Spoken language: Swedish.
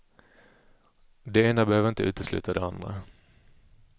Det ena behöver inte utesluta det andra.